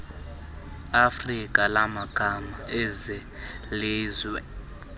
afrika lamagama ezelizwe